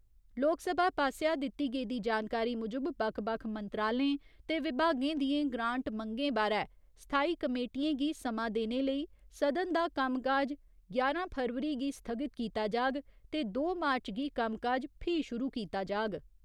लोकसभा पास्सेआ दित्ती गेदी जानकारी मूजब बक्ख बक्ख मंत्रालयें ते विभागें दियें ग्रांट मंगें बारै स्थाई कमेटियें गी समां देने लेई सदन दा कम्मकाज ञारां फरवरी गी स्थगित कीता जाग ते दो मार्च गी कम्मकाज फ्ही शुरू कीता जाग।